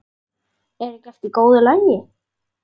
Er ekki allt í góðu lagi?